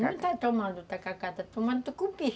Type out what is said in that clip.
Não está tomando o tacacá, está tomando o tucupi.